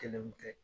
Kelen kun tɛ